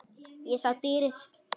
Ég sá dýrið.